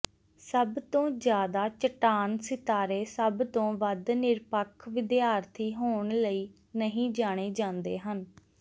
ਸਭਤੋਂ ਜ਼ਿਆਦਾ ਚੱਟਾਨ ਸਿਤਾਰੇ ਸਭ ਤੋਂ ਵੱਧ ਨਿਰਪੱਖ ਵਿਦਿਆਰਥੀ ਹੋਣ ਲਈ ਨਹੀਂ ਜਾਣੇ ਜਾਂਦੇ ਹਨ